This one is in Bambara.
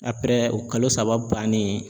o kalo saba bannen